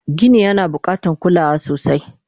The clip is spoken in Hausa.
Gini yana bukatan kulawa sosai